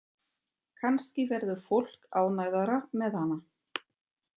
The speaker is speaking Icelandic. Kannski verður fólk ánægðara með hana.